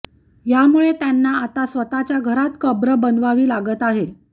यामुळे त्यांना आता स्वतःच्या घरात कब्र बनवावी लागत आहे